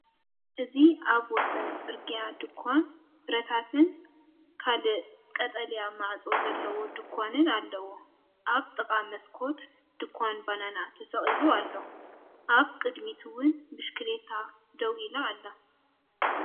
እዚ ኣብ ወሰን ጽርግያ ድኳን ፍረታትን ካልእ ቀጠልያ ማዕጾ ዘለዎ ድኳንን ኣሎ። ኣብ ጥቓ መስኮት ድኳን ባናና ተሰቒሉ ኣሎ፡ ኣብ ቅድሚት እውን ብሽክለታ ደው ኢላ ኣላ።